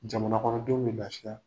Jamana kɔnɔdenw bƐ bilasira